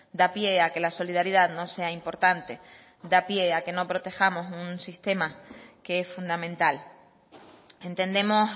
da pie a que la solidaridad no sea importante da pie a que no protejamos un sistema que es fundamental entendemos